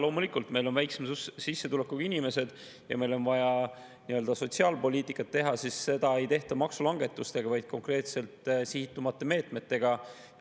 Loomulikult, meil on väiksema sissetulekuga inimesed ja meil on vaja nii-öelda sotsiaalpoliitikat teha, aga seda ei tehta maksulangetusega, vaid konkreetselt sihitumate meetmetega.